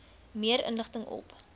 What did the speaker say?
meer inligting op